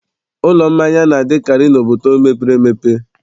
Ụlọ mmanya na-adịkarị n'obodo mepere emepe.